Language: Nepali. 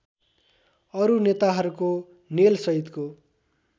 अरू नेताहरूको नेलसहितको